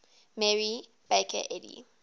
mary baker eddy